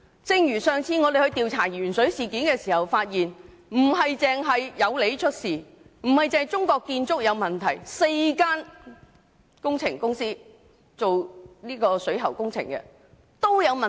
正如我們在調查鉛水事件時發現，不單有利建築有問題，也不止是中國建築有問題，而是4間負責水喉工程的公司皆有問題。